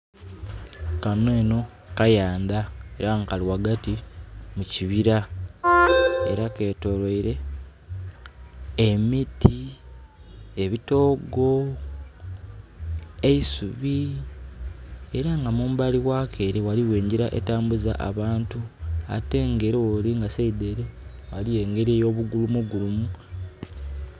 Kano enho kayanda era nga kali wagati mukibira era ketoloire emiti ebitogo eisubi era nga mumbali wako waliwo enjira etambuza abantu ate wolinga saidi ere waliwo engeri yo bugulumu bugulumu